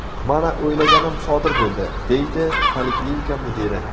Mana, o‘ylaganim sodir bo‘ldi”, deydi poliklinika mudiri.